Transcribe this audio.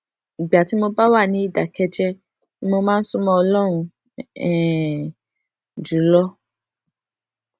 ìgbà tí mo bá wà ní ìdákéjéé ni mo máa ń sún mó ọlórun um jù lọ